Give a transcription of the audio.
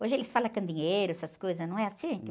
Hoje eles falam candeeiro, essas coisas, não é assim?